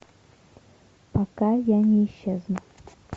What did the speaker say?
пока я не исчезну